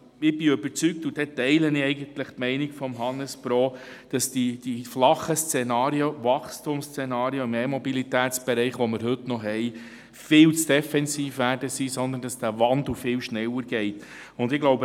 Ich bin überzeugt und teile eigentlich die Meinung von Herrn Hannesbo, dass die flachen Wachstumsszenarien im Bereich der E-Mobilität viel zu defensiv eingeschätzt werden und dieser Wandel viel schneller stattfinden wird.